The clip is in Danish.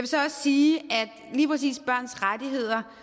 så også sige at lige præcis børns rettigheder